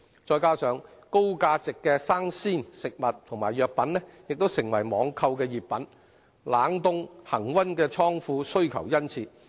再加上高價值的生鮮食物和藥品，亦成為網購熱品，冷凍、恆溫的倉庫需求殷切。